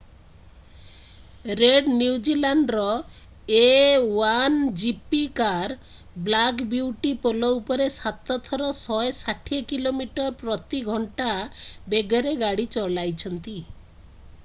Red new zealandର a1gp କାର black ବ୍ୟୁଟିକୁ ପୋଲ ଉପରେ ସାତ ଥର 160କିମି/ଘଣ୍ଟା ପ୍ରତି ବେଗରେ ଗାଡ଼ି ଚଲାଇଛନ୍ତି।